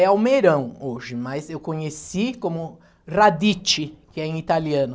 É almeirão hoje, mas eu conheci como radicci, que é em italiano.